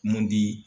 Mun di